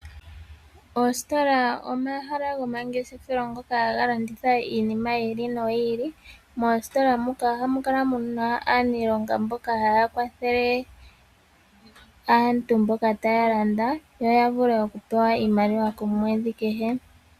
Oositola omahala gomangeshefelo ngoka haga landitha iinima yiili no yiili. Moostola muka oha mukala muna aanilonga mboka haya kwathele aantu mboka taya landa, yo ya vule okupewa iimaliwa komwedhi kehe.